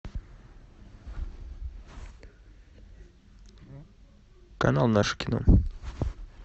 канал наше кино